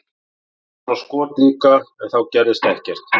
Við fengum svona skot líka en þá gerðist ekkert.